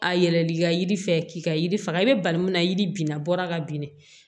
A yɛlɛl'i ka yiri fɛ k'i ka yiri faga i bɛ bali mun na yiri bin na bɔra ka bin de